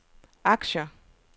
aktier